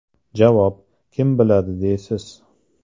Javob: Kim biladi, deysiz.